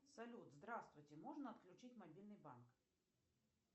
салют здравствуйте можно отключить мобильный банк